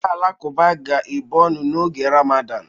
Ndị Alakụba ga-ebu ọnụ n'oge Ramadan.